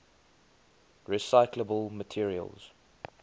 recyclable materials